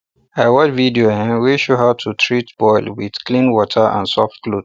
i watch video wey show um how to treat boil with clean water and soft cloth